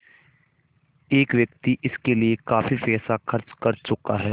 एक व्यक्ति इसके लिए काफ़ी पैसा खर्च कर चुका है